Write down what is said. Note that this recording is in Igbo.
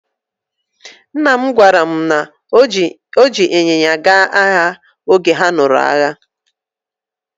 Nna m gwara mụ na o ji ịnyịnya gaa agha oge ha lụrụ agha.